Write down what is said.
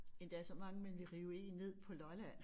Endda så mange man kan rive 1 ned på Lolland